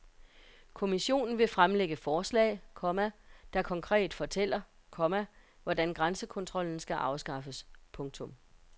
Kommissionen vil fremlægge forslag, komma der konkret fortæller, komma hvordan grænsekontrollen skal afskaffes. punktum